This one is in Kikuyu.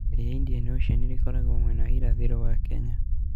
Iria rĩa Indian Ocean rĩkoragwo mwena wa irathĩro wa Kenya.